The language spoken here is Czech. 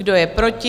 Kdo je proti?